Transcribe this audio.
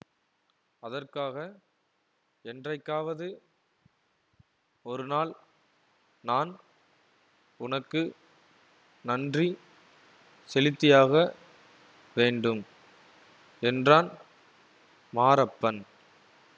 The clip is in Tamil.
அதற்காக என்றைக்காவது ஒரு நாள் நான் உனக்கு நன்றி செலுத்தியாக வேண்டும் என்றான் மாரப்பன்